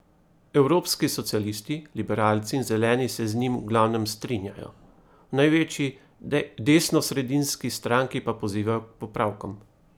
Evropski socialisti, liberalci in zeleni se z njim v glavnem strinjajo, v največji, desnosredinski stranki pa pozivajo k popravkom.